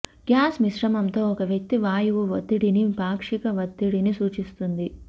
gas మిశ్రమంతో ఒక వ్యక్తి వాయువు ఒత్తిడిని పాక్షిక ఒత్తిడిని సూచిస్తుంది